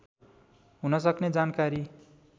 हुन सक्ने जानकारी